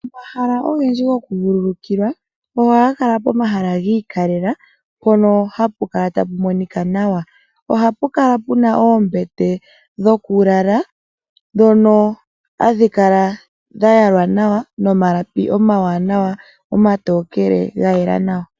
Omahala ogendji goku vululukilwa oha ga kala pomahala gi ikalekelwa mpono hapu kala tapu monika nawa. Ohapu Kala puna oombete dhokulala ndhono hadhi kala dha yalwa nawa nomalapi omatokele ga yela nawa.